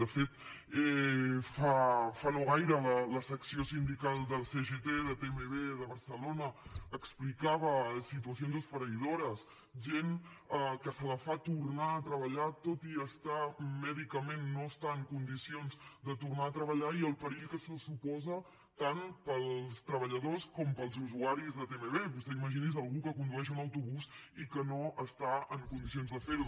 de fet fa no gaire la secció sindical de la cgt de tmb de barcelona explicava situacions esfereïdores gent que se la fa tornar a treballar tot i mèdicament no estar en condicions de tornar a treballar i el perill que això suposa tant per als treballadors com per als usuaris de tmb vostè imagini’s algú que condueix un autobús i que no està en condicions de fer ho